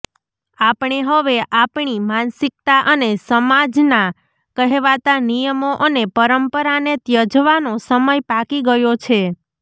આપણે હવે આપણી માનસિકતા અને સમાજના કહેવાતા નિયમો અને પરંપરાને ત્યજવાનો સમય પાકી ગયો છે